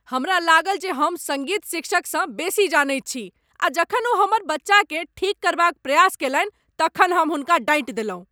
हमरा लागल जे हम सङ्गीत शिक्षकसँ बेसी जनैत छी आ जखन ओ हमर बच्चाकेँ ठीक करबाक प्रयास कयलनि तखन हम हुनका डाँटि देलहुँ ।